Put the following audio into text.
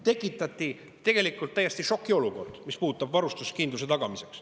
Tekitati tegelikult täielik šokiolukord, mis puudutab varustuskindluse tagamist.